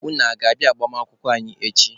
Unu aga-abịa agbamakwụkwọ anyị echi?